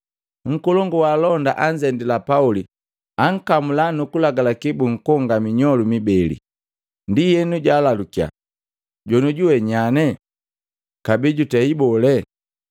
Nkolongu wa alonda anzendila Pauli, ankamula nukulagalaki bunkonga minyolu mibeli. Ndienu jwalalukiya, “Jonioju we nyanye, kabee jutei bole?”